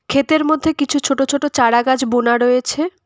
ক্ষেতের মধ্যে কিছু ছোট ছোট চারা গাছ বোনা রয়েছে।